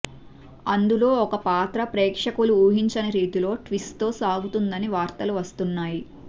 అందులో ఒక పాత్ర ప్రేక్షకులు ఊహించని రీతిలో ట్విస్ట్ తో సాగుతుందని వార్తలు వస్తున్నాయి